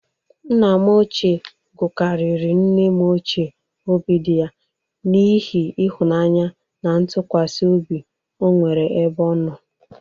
Nna m ochie gụgarịrị nne m ochie obidịya n'ihi ịhụnaanya na ntụkwasị obi o nwere ebe ọ nọ.